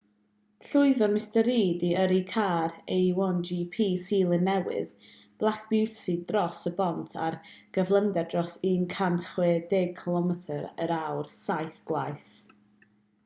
llwyddodd mr reid i yrru car a1gp seland newydd black beauty dros y bont ar gyflymder dros 160km yr awr saith gwaith